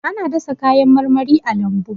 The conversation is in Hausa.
Ana dasa kayan marmari a lambu.